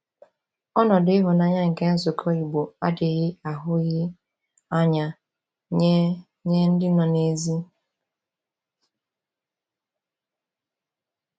Ọnọdụ ịhụnanya nke nzukọ Igbo adịghị ahụghị anya nye nye ndị nọ n’èzí.